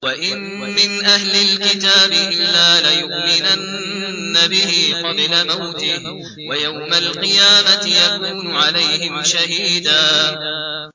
وَإِن مِّنْ أَهْلِ الْكِتَابِ إِلَّا لَيُؤْمِنَنَّ بِهِ قَبْلَ مَوْتِهِ ۖ وَيَوْمَ الْقِيَامَةِ يَكُونُ عَلَيْهِمْ شَهِيدًا